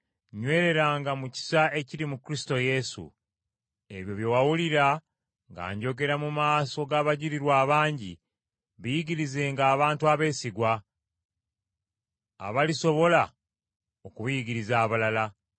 Ebyo bye wawulira nga njogera mu maaso g’abajulirwa abangi biyigirizenga abantu abeesigwa, abalisobola okubiyigiriza abalala.